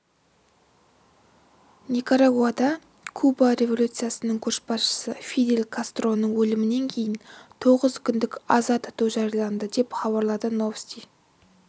никарагуада куба революциясының көшбасшысы фидель кастроның өлімінен кейін тоғыз күндік аза тұту жарияланды деп хабарлады новости